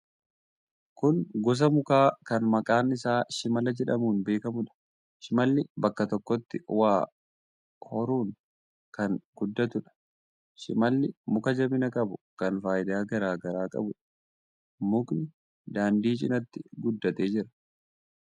Kun gosa mukaa kan maqaan isaa shimala jedhamuun beekamuudha. Shimalli bakka tokkotti wa horuun kan guddatuudha. Shimalli muka jabina qabu kan faayidaa garaa garaa qabuudha. Mukni daandii cinatti guddatee jira.